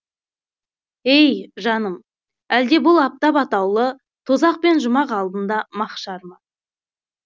ей жаным әлде бұл аптап атаулы тозақ пен жұмақ алдында маһшар ма